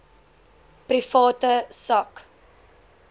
private sak